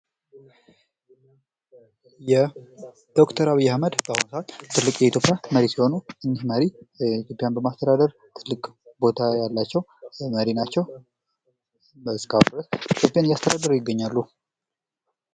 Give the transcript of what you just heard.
ዶክተር አብይ አህመድ ባሁኑ ሰአት የእትዮጵያ ትልቁ መሪ ሲሆኑ እኚህ መሪ የማስተዳደር ትልቅ ቦታ ያላቸው መሪ ናቸው። እስካሁን ድረስ ኢትዮጵያን እያስተዳደሩ ይገኛሉ።